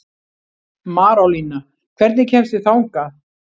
Marólína, hvernig kemst ég þangað?